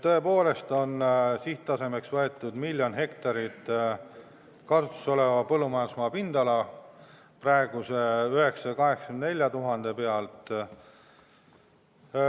Tõepoolest on sihttasemeks võetud miljon hektarit kasutuses olevat põllumajandusmaad praeguse 984 000 asemel.